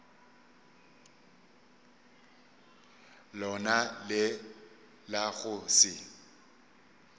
lona le la go se